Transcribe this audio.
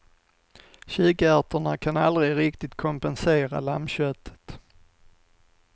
Kikärtorna kan aldrig riktigt kompensera lammköttet.